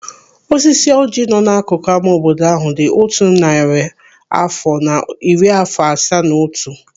Osisi ọjị nọ n'akụkụ ama obodo ahụ dị otu narị afọ na iri afọ asaa na otu.